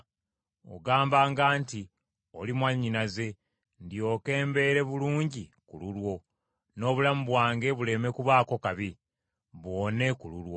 Ogambanga nti, Oli mwannyinaze ndyoke mbeere bulungi ku lulwo, n’obulamu bwange buleme kubaako kabi, buwone ku lulwo.”